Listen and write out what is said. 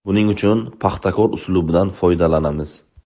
Buning uchun ‘Paxtakor’ uslubidan foydalanamiz.